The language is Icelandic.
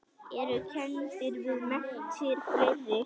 Eru kenndir við menntir fleiri.